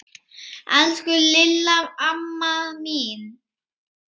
Elsku Lilla amma mín.